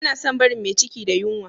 Ana son barin me ciki da yunwa